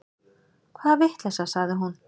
Hvaða vitleysa, sagði hún.